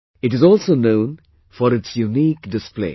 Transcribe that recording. It is also known for its unique display